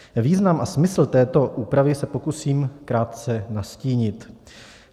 Význam a smysl této úpravy se pokusím krátce nastínit.